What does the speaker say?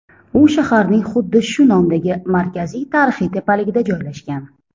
U shaharning xuddi shu nomdagi markaziy tarixiy tepaligida joylashgan.